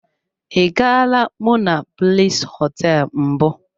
I gaala monablis hoteelu mbụ.